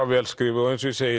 vel skrifuð og eins og ég segi